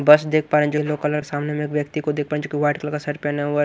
बस देख पा रहे हैं जो येलो कलर सामने में एक व्यक्ति को देख पा रहे हैंजो कि वाइट कलर का शर्ट पहना हुए --